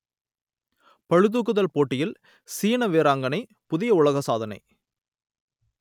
பளுதூக்குதல் போட்டியில் சீன வீராங்கனை புதிய உலக சாதனை